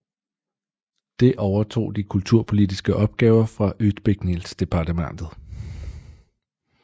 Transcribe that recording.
Det overtog de kulturpolitiske opgaver fra utbildningsdepartementet